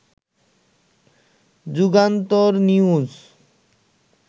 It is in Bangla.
যুগান্তর নিউজ